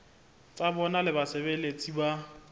tsa bona le basebeletsi ba